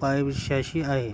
पायथ्याशी आहे